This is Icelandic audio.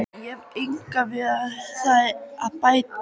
Ég hef engu við það að bæta.